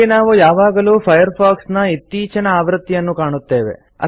ಇಲ್ಲಿ ನಾವು ಯಾವಾಗಲೂ ಫೈರ್ಫಾಕ್ಸ್ ನ ಇತ್ತೀಚಿನ ಆವೃತ್ತಿಯನ್ನು ಕಾಣುತ್ತೇವೆ